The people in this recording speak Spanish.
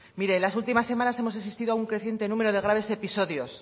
mire en la últimas semanas hemos asistido a un creciente número de graves episodios